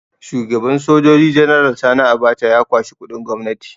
Shugaban Sojoji General Sani Abacha ya kwashi kuɗin gwamnati